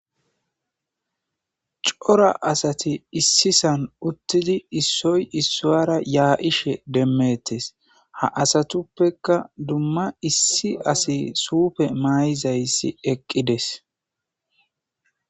Cora asathi issisan uththidi issoy issuwaara yaa7ishe demmeeththes; ha asathuppekka dumma issi asi suufe maayizayssi eqqi des.